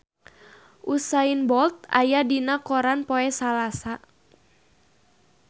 Usain Bolt aya dina koran poe Salasa